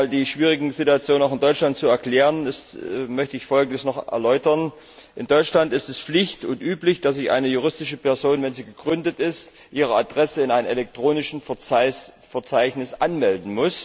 Um einmal die schwierige Situation in Deutschland zu erklären, möchte ich folgendes erläutern In Deutschland ist es Pflicht und üblich, dass eine juristische Person, wenn sie gegründet ist, ihre Adresse in einem elektronischen Verzeichnis anmeldet.